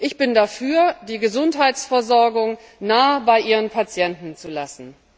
Ich bin dafür, die Gesundheitsversorgung nah bei ihren Patienten zu lassen.